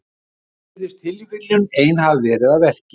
Hér virðist tilviljunin ein hafa verið að verki.